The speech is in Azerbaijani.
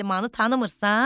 Müsəlmanı tanımırsan?